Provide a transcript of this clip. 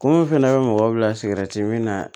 Kungo fana bɛ mɔgɔ bila min na